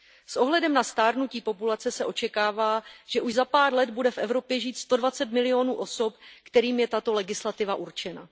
S ohledem na stárnutí populace se očekává, že už za pár let bude v Evropě žít sto dvacet milionů osob, kterým je tato legislativa určena.